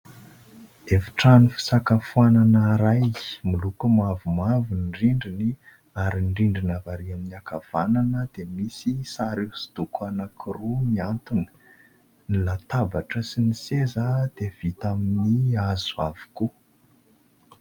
Efitrano fisakafoanana iray miloko mavomavo ny rindriny ary ny rindrina avy ary amin'ny ankavanana dia misy sary hoso-doko anankiroa miantona, ny latabatra sy ny seza dia vita amin'ny hazo avokoa.